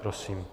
Prosím.